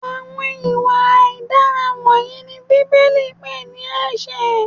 Àwọn ìwà aidara wọnyìí ni Bíbélì pè ní ẹsẹ.